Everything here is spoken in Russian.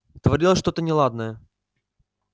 творилось что-то неладное